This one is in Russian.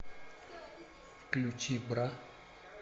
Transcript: включи бра